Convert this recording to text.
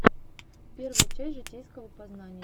первая часть житейского познания